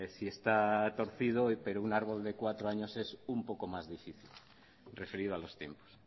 si está torcido pero un árbol de cuatro años es un poco más difícil referido a los tiempos